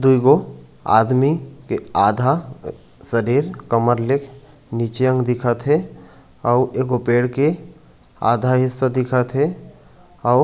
दुई गो आदमी के आधा शरीर कमर ले नीचे अंग दिखत हे आऊ एक गो पेड़ के आधा हिस्सा दिखत हे आऊ--